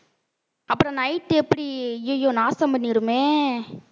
அப்புறம் night எப்படி ஐயையோ நாசம் பண்ணிடுமே